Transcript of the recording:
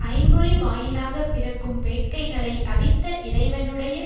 ஐம்பொறி வாயிலாக பிறக்கும் வேட்கைகளை அவித்த இறைவனுடைய